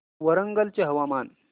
वरंगल चे हवामान